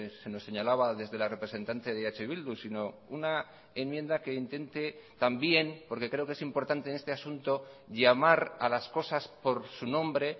se nos señalaba desde la representante de eh bildu sino una enmienda que intente también porque creo que es importante en este asunto llamar a las cosas por su nombre